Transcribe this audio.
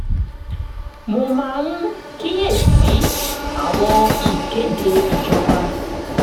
mo máa ń kíyè sí àwọn ìkéde ìjọba